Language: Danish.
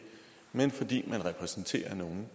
men fordi man repræsenterer nogen